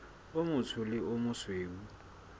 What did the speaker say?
o motsho le o mosweu